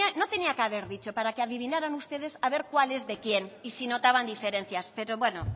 bueno no tenía que haber dicho para que adivinaran ustedes a ver cuál es de quién y si notaban diferencias pero bueno